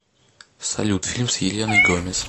салют фильм с еленой гомес